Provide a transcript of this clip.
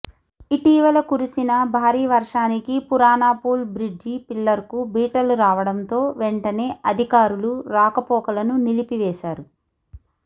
ఇటీవల కురిసిన భారీ వర్షానికి పురానాపూల్ బ్రిడ్జి పిల్లర్కు బీటలు రావడంతో వెంటనే అధికారులు రాకపోకలను నిలిపివేశారు